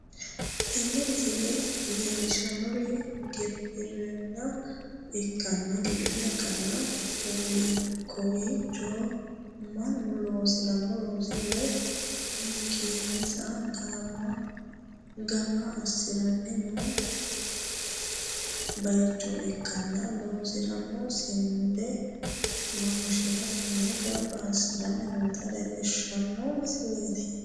tini misile leellishshannohu gibirinna ikkanna, kowiicho mannu loosi'rino looso woy hunkeensa gamba assi'ranni no bayicho ikkanna, loosi'rino sinde maashinetenni gamba assi'ranni noota leellishshanno misileeti.